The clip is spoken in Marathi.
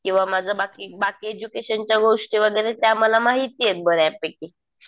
किंवा माझं बाकी, बाकी एज्युकेशनच्या गोष्टी वगैरे त्या मला माहिती आहेत बऱ्यापैकी.